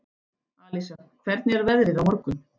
Alísa, hvernig er veðrið á morgun?